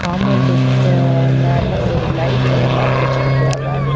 காம்பொண்டுக்கா மேல ஒரு லைட் ஒன்னு மாட்டி வச்சிருக்கியாவ.